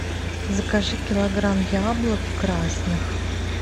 закажи килограмм яблок красных